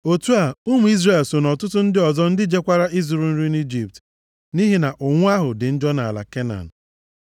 Otu a, ụmụ Izrel so nʼọtụtụ ndị ọzọ ndị jekwara ịzụrụ nri nʼIjipt, nʼihi na ụnwụ ahụ dị njọ nʼala Kenan.